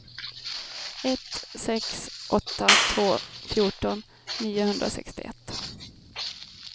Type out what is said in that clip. ett sex åtta två fjorton niohundrasextioett